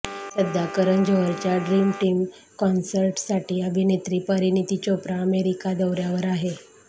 सध्या करण जोहरच्या dream team कॉन्सर्टसाठी अभिनेत्री परिणीती चोप्रा अमेरिका दौऱ्यावर आहे